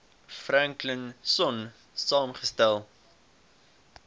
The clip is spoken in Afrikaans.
franklin sonn saamgestel